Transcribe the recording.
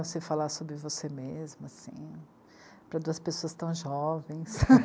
Você falar sobre você mesma, assim, para duas pessoas tão jovens.